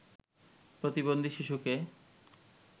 প্রতিবন্ধী শিশুকে